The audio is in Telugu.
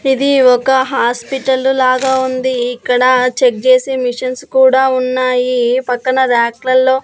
ఇది ఒక హాస్పిటల్లు లాగా ఉంది ఇక్కడ చెక్ జేసే మిషన్స్ కూడా ఉన్నాయి పక్కన ర్యాక్లల్లో --